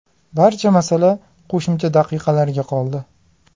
Barcha masala qo‘shimcha daqiqalarga qoldi.